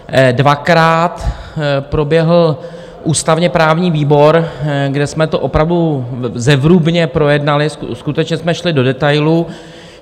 Dvakrát proběhl ústavně-právní výbor, kde jsme to opravdu zevrubně projednali, skutečně jsme šli do detailů.